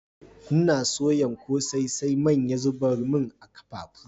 N'na soyan kose, sai man ya zubar mun a'kafafu.